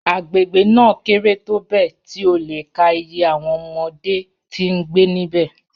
Agbegbe naa kere tobẹẹ ti o le ka iye awọn ọmọde ti ngbe nibẹ